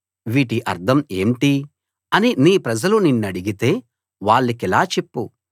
వీటి అర్థం ఏంటి అని నీ ప్రజలు నిన్నడిగితే వాళ్ళకిలా చెప్పు